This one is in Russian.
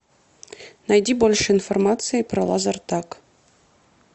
найди больше информации про лазертаг